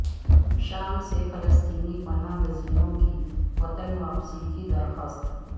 شام سےفلسطینی پناہ گزینوں کی وطن واپسی کی درخواست